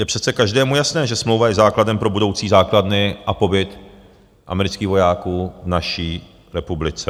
Je přece každému jasné, že smlouva je základem pro budoucí základny a pobyt amerických vojáků v naší republice.